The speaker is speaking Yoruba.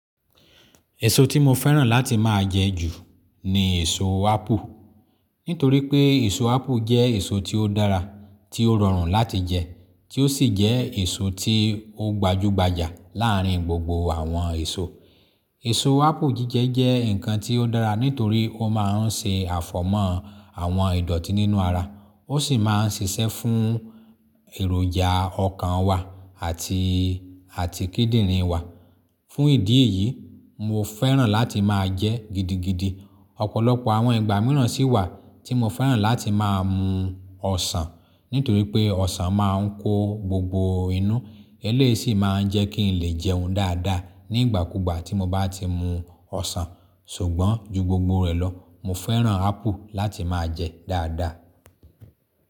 Èso tí mo fẹ́ràn láti máa jẹ ju ni èso ápù. Nítorí pé èso ápù jẹ́ èso tí ó dára, tí ó rọrùn láti jẹ, tí ó sì jẹ́ èso tí ó gbajúgbajà láàárin gbogbo àwọn èso. Èso ápù jíjẹ jẹ́ ǹkan tí ó dára nítorí ó máa ń ṣe àfọ̀mọ́ àwọn ìdọ̀tí nínú ara, ó sì máa ń ṣiṣẹ́ fún èròjà ọkàn wa àti, àti kídìrín wa. Fún ìdí èyí, mo fẹ́ràn láti máa jẹ́ gidi gidí. Ọ̀pọ̀lọpọ̀ àwọn ìgbà mìíràn sì wà tí mo fẹ́ràn láti máa mu ọsàn, nítorí pé ọsàn máa ń kó gbogbo inú, eléyìí sì máa ń jẹ́ kín lè jẹun dáadáa nígbàkúgbà tí mo bá ti mu ọsàn. Ṣùgbọ́n ju gbogbo rẹ̀ lọ, mo fẹ́ràn ápù láti máa jẹ dáadáa.